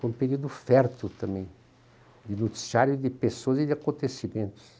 Foi um período fértil também, de noticiário, de pessoas e de acontecimentos.